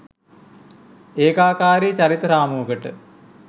ඒකාකාරී චරිත රාමුවකට